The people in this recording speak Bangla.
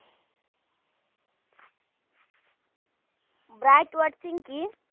bright watching কি?